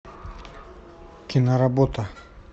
киноработа